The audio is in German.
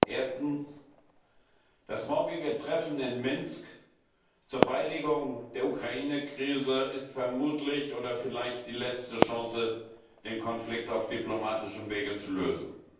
Erstens Das morgige Treffen in Minsk zur Beilegung der Ukraine Krise ist vermutlich oder vielleicht die letzte Chance, den Konflikt auf diplomatischem Wege zu lösen.